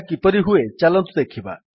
ଏହା କିପରି ହୁଏ ଚାଲନ୍ତୁ ଦେଖିବା